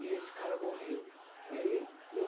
E esse cara morreu. Aí eu